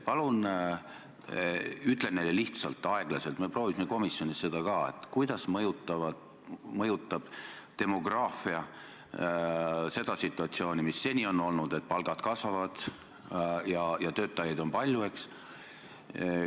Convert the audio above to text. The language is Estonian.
Palun ütle neile lihtsalt ja aeglaselt – me proovisime seda ka komisjonis –, kuidas mõjutab demograafia seda situatsiooni, mis seni on olnud, et palgad kasvavad ja töötajaid on palju.